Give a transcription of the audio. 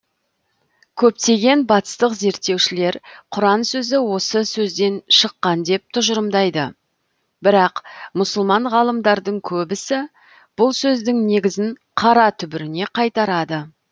көптеген батыстық зерттеушілер құран сөзі осы сөзден шыққан деп тұжырымдайды бірақ мұсылман ғалымдардың көбісі бұл сөздің негізін қара түбіріне қайтарады